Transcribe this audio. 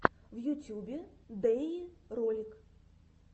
в ютюбе дэйи ролик